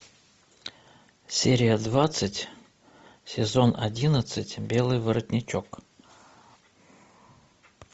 серия двадцать сезон одиннадцать белый воротничок